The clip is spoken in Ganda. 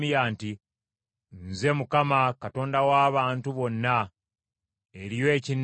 “Nze Mukama , Katonda w’abantu bonna. Eriyo ekinnema?